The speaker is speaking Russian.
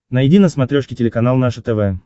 найди на смотрешке телеканал наше тв